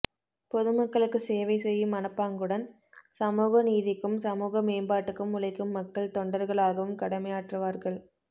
பொது மக்களுக்குச் சேவை செய்யும் மனப்பாங்குடன் சமூகநீதிக்கும் சமூக மேம்பாட்டுக்கும் உழைக்கும் மக்கள் தொண்டர்களாகவும் கடமையாற்றுவார்கள்